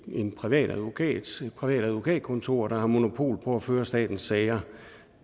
en privat advokat et privat advokatkontor der har monopol på at føre statens sager